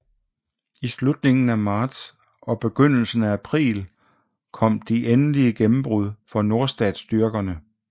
I slutningen af marts og begyndelsen af april kom de endelige gennembrud for nordstatsstyrkerne